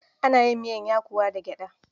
Ana yin miyar yakuwa da gyaɗa.